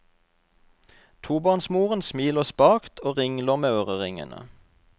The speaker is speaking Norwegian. Tobarnsmoren smiler spakt og ringler med øreringene.